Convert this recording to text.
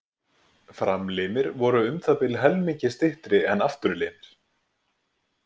Framlimir voru um það bil helmingi styttri en afturlimir.